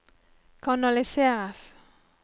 kanaliseres